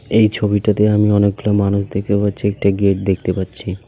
এই ছবিটাতে আমি অনেকগুলা মানুষ দেখতে পাচ্ছি একটা গেট দেখতে পাচ্ছি.